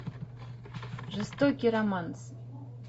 жестокий романс